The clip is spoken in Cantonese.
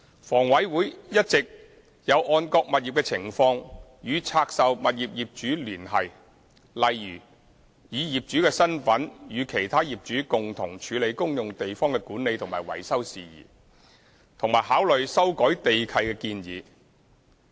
房委會一直有按各物業的情況，與拆售物業業主聯繫，例如以業主身份與其他業主共同處理公用地方的管理及維修事宜，以及考慮修改地契的建議。